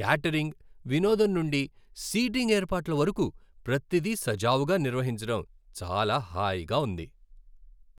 Catering, వినోదం నుండి seating ఏర్పాట్ల వరకు, ప్రతిదీ సజావుగా నిర్వహించడం చాలా హాయిగా ఉంది.